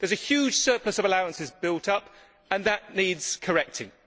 A huge surplus of allowances has built up and that needs correcting.